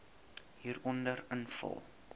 hieronder invul